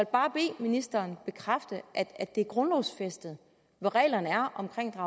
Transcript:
bare bede ministeren bekræfte at det er grundlovsfæstet hvad reglerne er omkring at